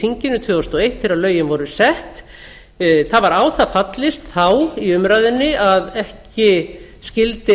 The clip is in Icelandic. þinginu tvö þúsund og eitt þegar lögin voru sett það var á það fallist þá að ekki skyldi